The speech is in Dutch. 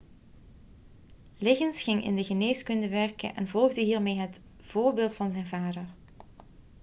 liggins ging in de geneeskunde werken en volgde hiermee het voorbeeld van zijn vader